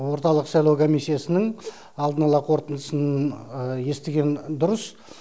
орталық сайлау комиссиясының алдын ала қорытындысын естіген дұрыс